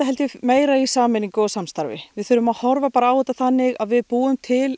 meira í sameiningu og samstarfi við þurfum að horfa á þetta þannig að við búum til